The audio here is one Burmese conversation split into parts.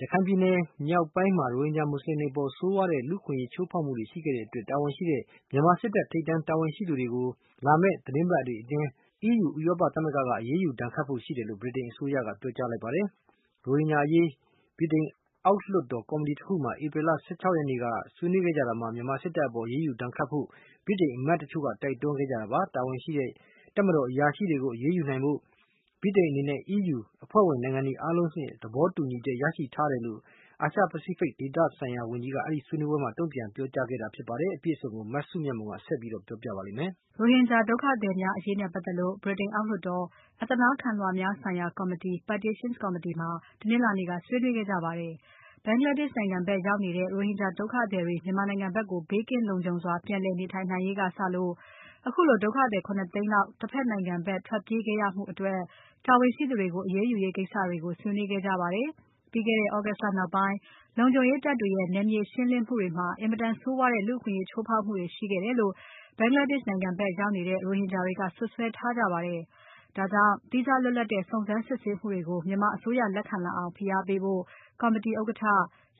ရခိုင်ပြည်နယ်မြောက်ပိုင်းမှာ ရိုဟင်ဂျာမွတ်ဆလင်တွေအပေါ် ဆိုးဝါးတဲ့ လူ့အခွင့်အရေး ချိုးဖောက်ခဲ့မှုတွေအတွက် တာဝန်ရှိတဲ့ မြန်မာစစ်တပ်ထိပ်တန်းတာဝန်ရှိသူတွေကို လာမယ့်သီတင်းပါတ်တွေအတွင်း EU ဥရောပသမဂ္ဂက အရေးယူဒဏ်ခတ်ဖို့ရှိတယ်လို့ ဗြိတိန်အစိုးရက ပြောကြားလိုက်ပါတယ်။ ရိုဟင်ဂျာအရေး ဗြိတိန်အောက်လွှတ်တော် ကော်မတီတခုမှာ ဧပြီလ ၁၆ ရက်နေ့က ဆွေးနွေးခဲ့ကြတာမှာ မြန်မာနိုင်ငံစ စ်တပ်အပေါ် အရေးယူဒဏ်ခတ်ဖို့ ဗြိတိန်အမတ်တချို့က တိုက်တွန်းခဲ့ကြတာပါ။ တာဝန်ရှိတဲ့ တပ်မတော်တာဝန်ရှိသူတွေကို အရေးယူနိုင်ဖို့ဗြိတိန်အနေနဲ့ EU အဖွဲ့ဝင်နိုင်ငံ အားလုံးဆီက သဘောတူညီချက်ရရှိထားတယ်လို့ အာရှ Pacific ဒေသဆိုင်ရာဝန်ကြီးက အဲဒီဆွေးနွေးပွဲမှာ တုံ့ပြန်ခဲ့တာဖြစ်ပါတယ်။ အပြည့်အစုံကို မစုမြတ်မွန်က ဆက်ပြီးပြောပြပါလိမ့်မယ်။ မြန်မာနိုင်ငံက လူနည်းစုရိုဟင်ဂျာတွေနဲ့ပါတ်သက်လို့ ဗြိတိန်အောက်လွှတ်တော် အသနားခံလွှာများဆိုင်ရာ ကော်မတီ (Petitions Committee) မှာ တနင်္လာနေ့က ဆွေးနွေးခဲ့ကြပါတယ်။ ဘင်္ဂလားဒေရှ့်နိုင်ငံဖက်ရောက်နေတဲ့ ရိုဟင်ဂျာဒုက္ခသည်တွေ မြန်မာနိုင်ငံဖက်ကို ဘေးကင်းလုံခြုံစွာ ပြန်လည်နေထိုင်နိုင်ရေးကစလို့ ခုလိုဒုက္ခည် ၇ သိန်းလောက် တဖက်နိုင်ငံဖက်ထွက်ပြေးခဲ့ရမှုအတွက် တာဝန်ရှိသူတွေကို အရေးယူရေးကိစ္စတွေကို ဆွေးနွေးခဲ့ကြပါတယ်။ ပြီးခဲ့တဲ့ သြဂုတ်လ နောက်ပိုင်း လုံခြုံရေးတပ်တွေရဲ့နယ်မြေရှင်းလင်းမှုတွေမှာ အင်မတန်ဆိုးဝါးတဲ့ လူ့အခွင့်အရေးချိုးဖောက်မှုတွေ ရှိခဲ့တယ်လို့ ဘင်္ဂလားဒေရှ့်နိုင်ငံ ဖက်ရောက်နေကြတဲ့ ရိုဟင်ဂျာတွေက စွပ်စွဲထားကြတာပါ။ ဒါကြောင့် သီးခြားလွတ်လပ်တဲ့ စုံစမ်းစစ်ဆေးမှုတွေကို မြန်မာအစိုးရလက်ခံလာအောင် ဖိအားပေးဖို့ ကော်မတီဥက္ကဋ္ဌ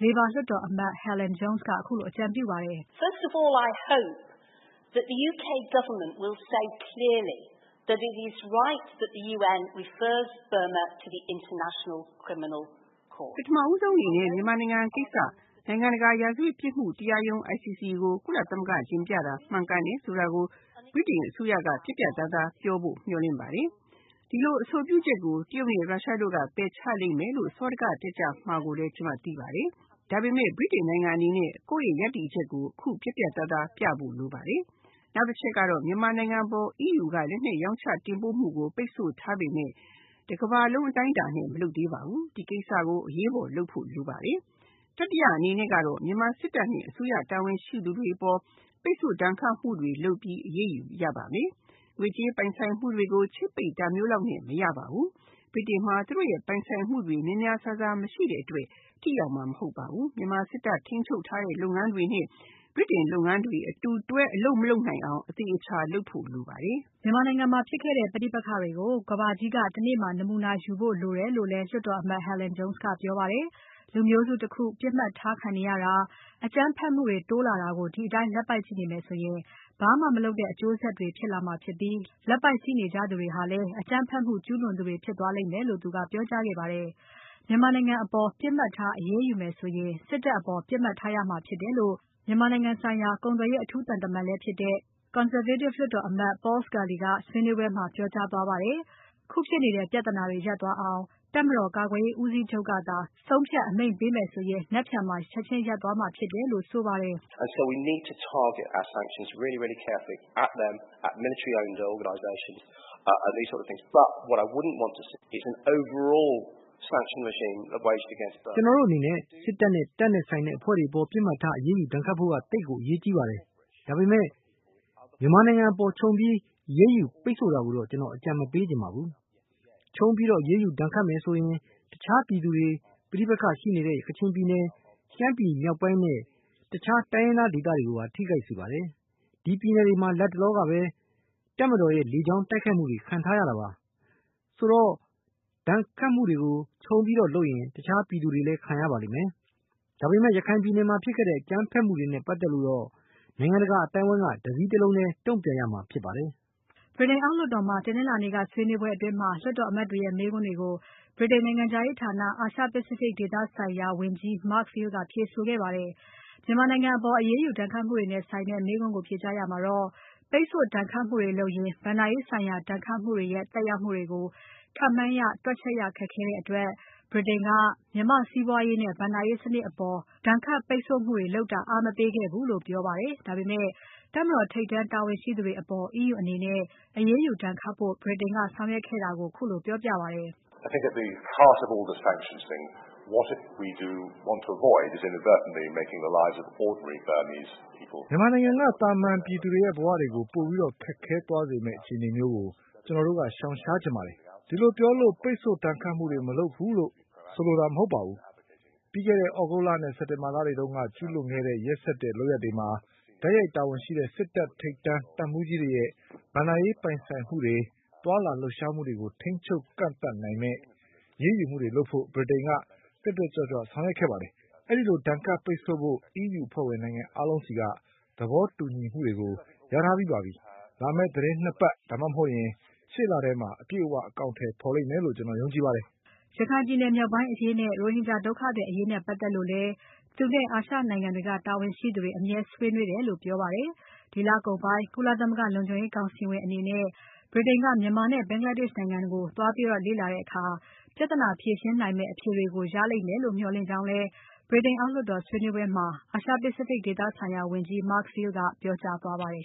Labour လွှတ်တော်အမတ် Helen Jones က ခုလိုအကြံပြုပါတယ်။ "ပထမဆုံးအနေနဲ့ မြန်မာနိုင်ငံကိစ္စ နိုင်ငံတကာရာဇဝတ်ပြစ်မှုတရားရုံး ICC ကို ကုလသမဂ္ဂတင်ပြတာမှန်ကန်တယ်ဆိုတာကို ဗြိတိန်အစိုးရက ပြတ်ပြတ်သားသား ပြောဖို့ မျှော်လင့်ပါတယ်။ ဒီလိုအဆိုပြုချက်ကို တရုတ်နဲ့ရုရှားတို့က ပယ်ချလိမ့်မယ်လို့ စောဒက တက်ကြမှာကိုလည်း ကျွန်မသိပါတယ်။ ဒါပေမဲ့ ဗြိတိန်နိုင်ငံအနေနဲ့ ကိုယ့်ရဲ့ ရပ်တည်ချက်ကို အခုပြတ်ပြတ်သားသားပြဖို့လိုပါတယ်။ နောက်တချက်ကတော့ မြန်မာနိုင်ငံ အပေါ် EU က လက်နက်ရောင်းချတင်ပို့မှုကို ပိတ်ဆို့ထားပေမဲ့ တကမ္ဘာလုံး အတိုင်းအတာနဲ့ မလုပ်သေးပါဘူး။ ဒီကိစ္စကို အရေးပေါ်လုပ်ဖို့လိုပါတယ်။ တတိယအနေနဲ့ မြန်မာစစ်တပ်နဲ့ အစိုးရတာဝန်ရှိသူတွေအပေါ် ပိတ်ဆို့ဒဏ်ခတ်မှုတွေ လုပ်ပြီး အရေးယူရပါမယ်။ ငွေကြေးပိုင်ဆိုင်မှုတွေကို ချိတ်ပိတ်တာမျိုးလောက်နဲ့ မရပါဘူး။ ဗြိတိန်မှာ သူတို့ရဲ့ပိုင်ဆိုင်မှုတွေ များများစားစားမရှိတဲ့အတွက် ထိရောက်မှာမဟုတ်ပါဘူး။ မြန်မာစစ်တပ်ထိန်းချုပ်ထားတဲ့ လုပ်ငန်းတွေနဲ့ ဗြိတိန်လုပ်ငန်းတွေ အတူတွဲအလုပ်မလုပ်နိုင်အောင် အသေအချာလုပ်ဖို့လိုပါတယ်။" မြန်မာနိုင်ငံမှာဖြစ်ခဲ့တဲ့ ပဋိပက္ခတွေကို ကမ္ဘာကြီးက တနေ့မှာ နမူနာယူဖို့လိုပါတယ် လို့လည်း လွှတ်အမတ် Helen Jones ကပြောပါတယ်။ လူမျိုးစုတခု ပြစ်မှတ်ထားခံနေရတာ။ အကြမ်းဖက်မှုတွေ တိုးလာတာကို ဒီအတိုင်း လက်ပိုက်ကြည့်နေမယ် ဆိုရင် ဘာမှမလုပ်တဲ့အကျိုးဆက်တွေဖြစ်လာမှာဖြစ်ပြီး။ လက်ပိုက်ကြည့်နေကြသူတွေဟာလည်း အကြမ်းဖက်မှုကျုးလွန်သူတွေဖြစ်သွားလိမ့်လို့ ပြောကြားခဲ့ပါတယ်။ မြန်မာနိုင်ငံအပေါ် ပြစ်မှတ်ထားအရေးယူမယ်ဆိုရင် စစ်တပ်အပေါ် ပြစ်မှတ်ထားရမှာဖြစ်တယ်လို့ မြန်မာနိုင်ငံဆိုင်ရာ ကုန်သွယ်ရေးအထူးသံတမန် Conservative လွှတ်တော်အမတ် Paul Scully ကလည်း ဆွေးနွေးပွဲမှာ ပြောကြားသွားပါတယ်။ ခုဖြစ်နေတဲ့ ပြဿနာတွေရပ်သွားအောင် တပ်မတော်ကာကွယ်ရေးဦးစီးချုပ်ကသာ ဆုံးဖြတ်အမိန့်ပေးရင် နက်ဖြန်မှာ ချက်ချင်းရပ်သွားမှာဖြစ်တယ်လို့ ဆိုပါတယ်။ "ကျွန်တော်တို့အနေနဲ့ စစ်တပ်နဲ့ တပ်နဲ့ဆိုင်တဲ့ အဖွဲ့တွေအပေါ် ပြစ်မှတ်မှာ အရေးယူဒဏ်ခတ်ဖို့ သိပ်ကိုအရေးကြီးပါတယ်။ ဒါပေမဲ့ မြန်မာနိုင်ငံအပေါ် ခြုံပြီးအရေးယူပိတ်ဆို့တာကိုတော့ ကျွန်တော်အကြံမပေးချင်ပါဘူး။ ခြုံပြီးဒဏ်ခတ်အရေးယူဒဏ်ခတ်မယ်ဆိုရင် တခြားပြည်သူတွေ။ ပဋိပက္ခတွေရှိနေတဲ့ ကချင်ပြည်နယ်။ ရှမ်းပြည်မြောက်ပိုင်းနဲ့ တခြားတိုင်းရင်းသားဒေသတွေကိုပါ ထိခိုက်စေပါတယ်။ အဲဒီပြည်နယ်တွေမှာ လတ်တလောကပဲ တပ်မတော်ရဲ့ လေကြောင်းတိုက်ခိုက်မှုတွေခံထားရတာပါ။ ဆိုတော့ ဒဏ်ခတ်မှုတွေကို ခြုံပြီးလုပ်ရင် တခြားပြည်သူတွေလည်း ခံရပါလိမ့်မယ်။ ဒါပေမဲ့ ရခိုင်ပြည်နယ်မှာ ဖြစ်ခဲ့တဲ့ အကြမ်းဖက်မှုတွေနဲ့ ပါတ်သက်လို့ နိုင်ငံတကာအသိုင်းအဝိုင်းက တစည်းတလုံးထဲ တုံ့ပြန်ရမှာဖြစ်ပါတယ်။" ဗြိတိန်အောက်လွှတ်တော်မှာ တနင်္လာနေ့က ဆွေးနွေးပွဲအတွင်း လွှတ်တော်အမတ်တွေရဲ့ မေးခွန်းတွေကို ဗြိတိန်နိုင်ငံခြားရေးဌာန အာရှ Pacific ဒေသဆိုင်ရာဝန်ကြီး Mark Field ကဖြေဆိုခဲ့ပါတယ်။ မြန်မာနိုင်ငံအပေါ် အရေးယူဒဏ်ခတ်မှုနဲ့ဆိုင်တဲ့ မေးခွန်းကို ဖြေကြားရာမှာတော့ ပိတ်ဆို့ဒဏ်ခတ်မှုတွေ လုပ်ရင် ဘဏ္ဍာရေးဆိုင်ရာ ဒဏ်ခတ်မှုတွေရဲ့ သက်ရောက်မှုတွေကို ခန့်မှန်းရ တွက်ချက်ရခက်ခဲတဲ့အတွက် ဗြိတိန်က မြန်မာ့စီးပွားရေးနဲ့ ဘဏ္ဍာရေးစနစ်အပေါ် ဒဏ်ခတ်ပိတ်ဆို့မှုတွေလုပ်တာ အားမပေးခဲ့ဘူးလို့ ပြောပါတယ်။ ဒါပေမဲ့ တပ်မတော်ထိပ်တန်း တာဝန်ရှိသူတွေအပေါ် EU အနေနဲ့ အရေးယူဒဏ်ခတ်ဖို့ ဗြိတိန်က ဆောင်ရွက်ခဲ့တာကို ခုလို ပြောပါတယ်။ "မြန်မာနိုင်ငံက သာမန်ပြည်သူတွေရဲ့ ဘဝတွေ ပိုပြီးခက်ခဲသွားမယ့် အခြေအနေမျိုးကို ကျွန်တော်တို့က ရှောင်ရှားချင်ပါတယ်။ ဒီလိုပြောလို့ ပိတ်ဆို့ဒဏ်ခတ်မှုတွေ မလုပ်ဘူးလို့ ဆိုလိုတာမဟုတ်ပါဘူး။ ပြီးခဲ့တဲ့ သြဂုတ်လ နဲ့ စက်တင်ဘာလတွေတုန်းက ကျူးလွန်ခဲ့တဲ့ ရက်စက်တဲ့ လုပ်ရပ်တွေမှာ တိုက်ရိုက်တာဝန်ရှိတဲ့ စစ်တပ်ထိပ်တန်းတပ်မှူးကြီးတွေရဲ့ ဘဏ္ဍာရေးပိုင်ဆိုင်မှုတွေ သွားလာလှုပ်ရှားမှုတွေကို ထိန်းချုပ်ကန့်သတ်နိုင်မယ့် အရေးယူမှုတွေလုပ်ဖို့ ဗြိတိန်က တက်တက်ကြွကြွဆောင်ရွက်ခဲ့ပါတယ်။ အဲဒီလို ဒဏ်ခတ်ပိတ်ဆို့ဖို့ EU အဖွဲ့ဝင်နိုင်ငံအားလုံးဆီက သဘောတူညီမှုကို ရရှိထားပြီးပါပြီ။ လာမယ့်သီတင်း ၂ ပါတ် ဒါမှမဟုတ်ရင် ရှေ့လထဲမှာ အပြည့်အဝ အကောင်အထည်ဖော်လိမ့်မယ်လို့ ကျွန်တော်ယုံကြည်ပါတယ်။" ရခိုင်ပြည်မြောက်ပိုင်းအရေးနဲ့ ရိုဟင်ဂျာဒုက္ခသည်အရေးနဲ့ပါတ်သက်လို့လည်း သူနဲ့ အာရှနိုင်ငံတွေကတာဝန်ရှိသူတွေ အမြဲဆွေးနွေးတယ်လို့ပြောပါတယ်။ ဒီလကုန်ပိုင်း ကုလသမဂ္ဂလုံခြုံရေးကောင်စီဝင်အနေနဲ့ ဗြိတိန်က မြန်မာနဲ့ ဘင်္ဂလားဒေရှ့်နိုင်ငံတွေကို သွားလေ့လာတဲ့အခါ ပြဿနာဖြေရှင်းနိုင်မယ့် အဖြေတွေကို ရလိမ့်မယ်လို့ မျှော်လင့်ကြောင်းလည်း ဗြိတိန်အောက်လွှတ်တော်ဆွေးနွေးပွဲမှာ အာရှ Pacific ဒေသဆိုင်ရာဝန်ကြီး Mark Field က ပြောကြားသွားပါတယ်